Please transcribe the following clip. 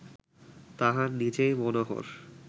তাঁহার নিজেই মনোহর